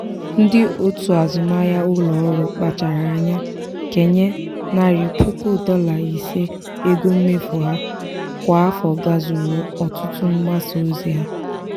ndị otu azụmahịa ụlọọrụ kpachara anya kenye narị puku dọla ise ego mmefu ha kwa afọ gazuru ọtụtụ mgbasa ozi ha.